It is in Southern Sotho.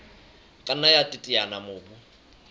ka nna ya teteanya mobu